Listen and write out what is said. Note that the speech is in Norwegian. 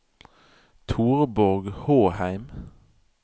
Torborg Håheim